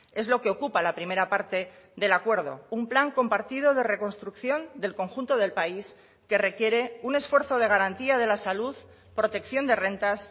es lo que ocupa la primera parte del acuerdo un plan compartido de reconstrucción del conjunto del país que requiere un esfuerzo de garantía de la salud protección de rentas